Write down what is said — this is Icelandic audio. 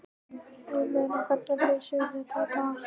Ég meina, hvernig leysum við þetta í dag?